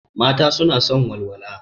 Mata suna son walwala.